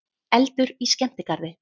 Eldur í skemmtigarði